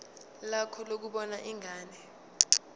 lakho lokubona ingane